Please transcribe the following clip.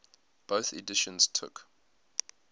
bofh editions took